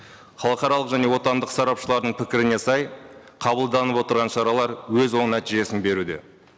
халықаралық және отандық сарапшылардың пікіріне сай қабылданып отырған шаралар өз оң нәтижесін беруде